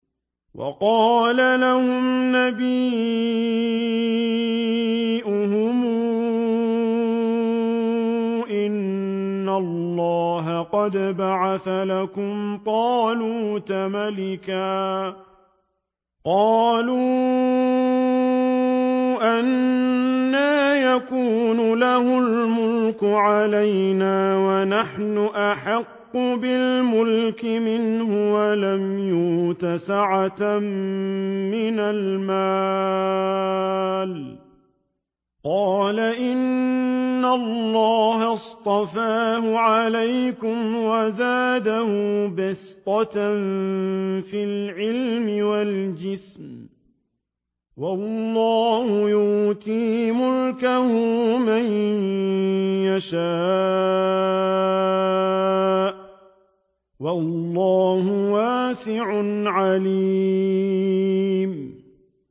وَقَالَ لَهُمْ نَبِيُّهُمْ إِنَّ اللَّهَ قَدْ بَعَثَ لَكُمْ طَالُوتَ مَلِكًا ۚ قَالُوا أَنَّىٰ يَكُونُ لَهُ الْمُلْكُ عَلَيْنَا وَنَحْنُ أَحَقُّ بِالْمُلْكِ مِنْهُ وَلَمْ يُؤْتَ سَعَةً مِّنَ الْمَالِ ۚ قَالَ إِنَّ اللَّهَ اصْطَفَاهُ عَلَيْكُمْ وَزَادَهُ بَسْطَةً فِي الْعِلْمِ وَالْجِسْمِ ۖ وَاللَّهُ يُؤْتِي مُلْكَهُ مَن يَشَاءُ ۚ وَاللَّهُ وَاسِعٌ عَلِيمٌ